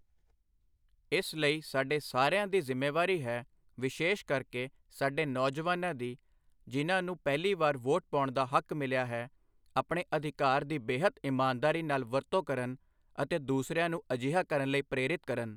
ਇਸ ਲਈ ਸਾਡੇ ਸਾਰਿਆਂ ਦੀ ਜਿ਼ੰਮੇਵਾਰੀ ਹੈ ਵਿਸ਼ੇ਼ਸ਼ ਕਰਕੇ ਸਾਡੇ ਨੌਜਵਾਨਾਂ ਦੀ ਜਿਹਨਾਂ ਨੂੰ ਪਹਿਲੀ ਵਾਰ ਵੋਟ ਪਾਉਣ ਦਾ ਹੱਕ ਮਿਲਿਆ ਹੈ ਆਪਣੇ ਅਧਿਕਾਰ ਦੀ ਬੇਹੱਦ ਇਮਾਨਦਾਰੀ ਨਾਲ ਵਰਤੋਂ ਕਰਨ ਅਤੇ ਦੂਸਰਿਆਂ ਨੂੰ ਅਜਿਹਾ ਕਰਨ ਲਈ ਪ੍ਰੇਰਿਤ ਕਰਨ।